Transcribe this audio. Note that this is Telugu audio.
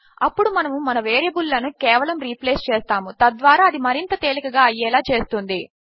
అప్పుడు మనము మన వేరియబుల్ లను కేవలము రీప్లేస్ చేస్తాము తద్వారా అది మరింత తేలికగా అయ్యేలా చేస్తుంది